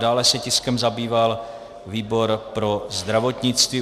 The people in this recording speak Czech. Dále se tiskem zabýval výbor pro zdravotnictví.